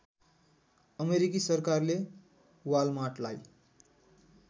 अमेरिकी सरकारले वालमार्टलाई